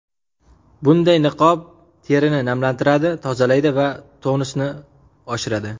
Bunday niqob terini namlantiradi, tozalaydi va tonusni oshiradi.